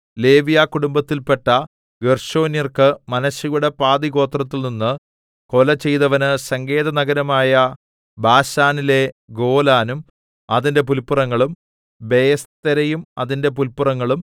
ലേവ്യ കുടുംബത്തിൽപ്പെട്ട ഗേർശോന്യർക്ക് മനശ്ശെയുടെ പാതിഗോത്രത്തിൽ നിന്ന് കൊല ചെയ്തവന് സങ്കേതനഗരമായ ബാശാനിലെ ഗോലാനും അതിന്റെ പുല്പുറങ്ങളും ബെയെസ്തെരയും അതിന്റെ പുല്പുറങ്ങളും